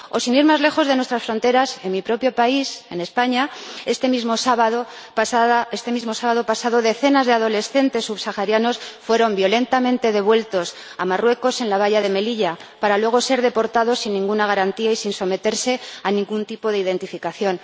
O, sin ir más lejos de nuestras fronteras, en mi propio país, en España, este mismo sábado pasado decenas de adolescentes subsaharianos fueron violentamente devueltos a Marruecos en la valla de Melilla, para luego ser deportados sin ninguna garantía y sin someterse a ningún tipo de identificación.